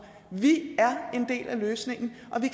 vi er en del af løsningen og vi